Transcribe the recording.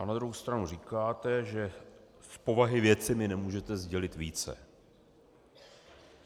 A na druhou stranu říkáte, že z povahy věci mi nemůžete sdělit více.